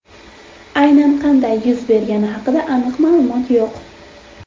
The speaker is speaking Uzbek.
Aynan qanday yuz bergani haqida aniq ma’lumot yo‘q.